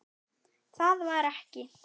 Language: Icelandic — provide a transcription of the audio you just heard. Það var ekki.